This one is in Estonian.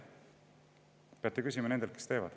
Peate küsima nendelt, kes seda teevad.